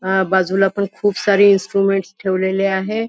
अ बाजूला पण खूप सारे इन्स्ट्रुमेंट्स ठेवलेले आहे.